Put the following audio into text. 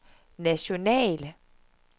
national